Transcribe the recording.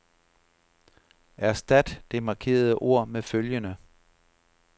Erstat det markerede ord med følgende.